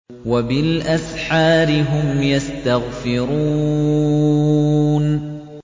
وَبِالْأَسْحَارِ هُمْ يَسْتَغْفِرُونَ